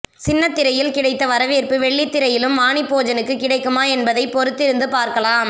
சின்னத்திரையில் கிடைத்த வரவேற்பு வெள்ளித்திரையிலும் வாணி போஜனுக்கு கிடைக்குமா என்பதை பொறுத்திருந்து பார்க்கலாம்